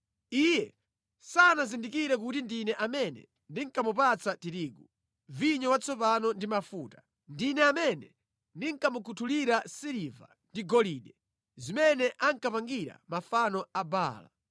Iye sanazindikire kuti ndine amene ndinkamupatsa tirigu, vinyo watsopano ndi mafuta. Ndine amene ndinkamukhuthulira siliva ndi golide, zimene ankapangira mafano a Baala.